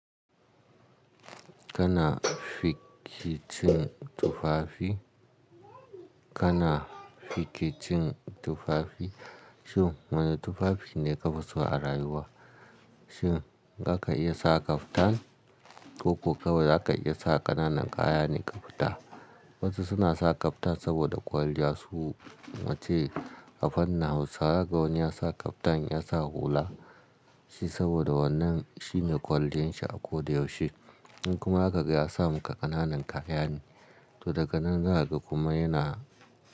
Kana fikicin tufafi, kana fikicin tufafi. Shin wane tufafi ne kafi so a rayuwa? Shin zaka iya sa kaftan ko kuwa zaka iya sa ƙananan kaya ne ka fita? Wasu suna sa kaftan saboda kwalliya su wacce afannin Hausawa. Zaka ga wani ya sa kaftan ya sa hula shi saboda wannan shine kwalliyan shi a koda yaushe. In kuma aka ga ya sa maka ƙananan kaya ne, to daga nan za a ga kuma yana.